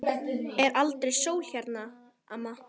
Er aldrei sól hérna, amma?